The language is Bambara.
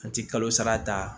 An ti kalo sara ta